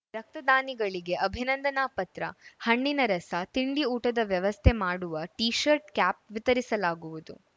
ರಕ್ತದಾನಿಗಳಿಗೆ ಅಭಿನಂದನಾ ಪತ್ರ ಹಣ್ಣಿನ ರಸ ತಿಂಡಿ ಊಟದ ವ್ಯವಸ್ಥೆ ಮಾಡುವ ಟೀಶರ್ಟ್‌ ಕ್ಯಾಪ್‌ ವಿತರಿಸಲಾಗುವುದು